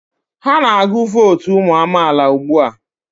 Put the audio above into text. Ha na-agụ vootu ụmụ amaala ugbu a.